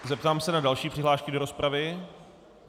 Zeptám se na další přihlášky do rozpravy.